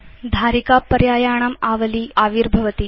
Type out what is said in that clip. धारिका पर्यायाणाम् आवली आविर्भवति